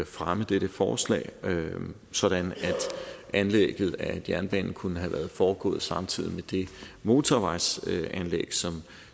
fremme dette forslag sådan at anlægget af jernbanen kunne have foregået samtidig med det motorvejsanlæg som